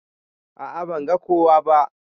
A'a ban ga kowa ba.